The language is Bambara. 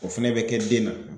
O fɛnɛ bɛ kɛ den na